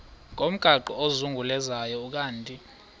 ngomgaqo ozungulezayo ukanti